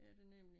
Det er der nemlig